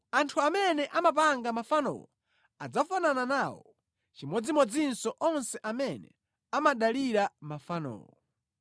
Anthu amene amapanga mafanowo adzafanana nawo, chimodzimodzinso onse amene amadalira mafanowo.